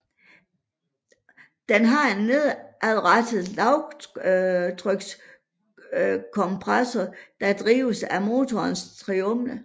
Den har en nedadrettet lavtrykskompressor der drives af motorens turbine